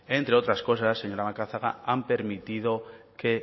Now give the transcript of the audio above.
entre otras cosas señora macazaga han permitido que